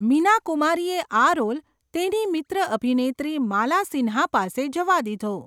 મીના કુમારીએ આ રોલ તેની મિત્ર અભિનેત્રી માલા સિન્હા પાસે જવા દીધો.